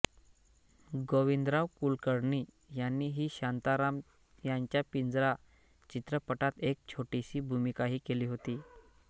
गोविंदराव कुलकर्णी यांनी व्ही शांताराम यांच्या पिंजरा चित्रपटात एक छोटीशी भूमिकाही केली होती